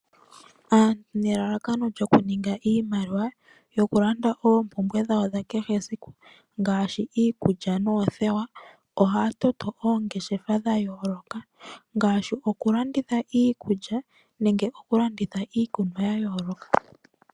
Aantu nelalakano lyokuninga iimaliwa yokulanda oopumbwe dhawo dhakehe esiku ngashi iikulya nothewa ohatoto oongeshefa dhayoloka ngashi okulanditha iikulya nenge okulanditha iikunwa yayoloka.